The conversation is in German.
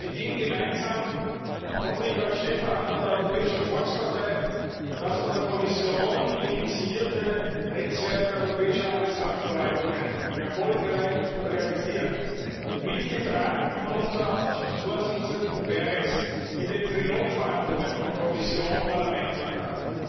Mit ihm gemeinsam konnte ich als Chefverhandler der Europäischen Volkspartei das von der Kommission initiierte Netzwerk europäischer Arbeitsmarktverwaltungen erfolgreich realisieren, mitgetragen von unserer Ausschussvorsitzenden Berès in den Trilogverhandlungen von Kommission, Parlament und Rat.